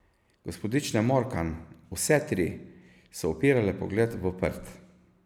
Gospodične Morkan, vse tri, so upirale pogled v prt.